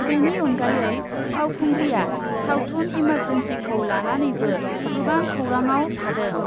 बेनि अनगायै फावखुंग्रिआ सावथुन इमार्जेन्सिखौ लानानैबो गोबां खौराङाव थादों।